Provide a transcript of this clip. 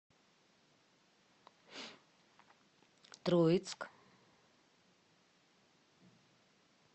троицк